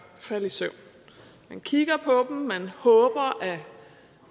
falde i søvn man kigger på dem man håber at